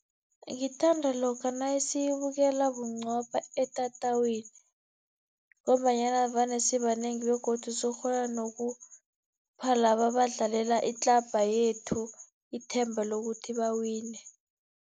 Ngithanda lokha nasiyibukela bunqopha etatawini, ngombanyana vane sibanengi begodu sizokukghona nokupha laba abadlalela itlabha yethu, ithemba lokuthi bawine.